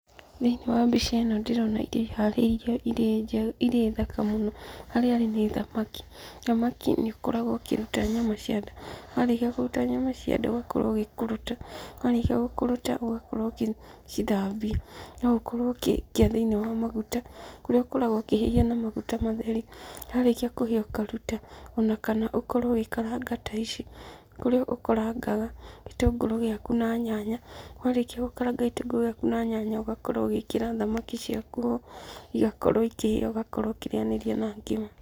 Thĩiniĩ wa mbica ĩno ndĩrona irio iharĩirio irĩ thaka mũno, harĩa rĩ nĩ thamaki. Thamaki nĩũkoragwo ũkĩruta nyama cia nda, warĩkia kũruta nyama cia nda, ũgakorwo ũgĩkũrũta, warĩkia gũkũrũta, ũgakorwo ũgĩcithambia, no ũkorwo ũkĩmĩikia thĩiniĩ wa maguta, kũrĩa ũkoragwo ũkĩhĩhia na magũta matheri, nyarikia kũhĩa ũkaruta, o na kana ũkorwo ũgĩkaranga ta ici, ũrĩa ũkarangaga gĩtũngũrũ gĩaku na nyanya. Warĩkia gũkaranga gĩtũngũrũ gĩaku na nyanya, ũgakorwo ũgĩkĩra thamaki ciaku ho, igakorwo ikĩhĩa na gũgakorwo ũkĩrĩyanĩria na ngima.